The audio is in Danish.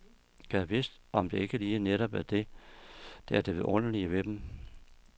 Gad vidst om det ikke lige netop er det, der er det vidunderlige ved dem.